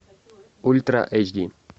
ультра эйч ди